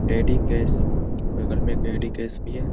एडिकेस बगल में एक एडिकेस भी है।